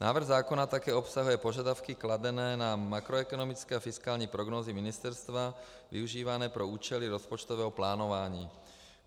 Návrh zákona také obsahuje požadavky kladené na makroekonomické a fiskální prognózy ministerstva využívané pro účely rozpočtového plánování.